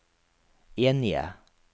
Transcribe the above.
enige